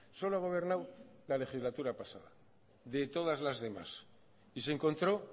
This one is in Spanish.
solo ha gobernado la legislatura pasada de todas las demás y se encontró